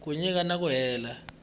ku nyika na ku leha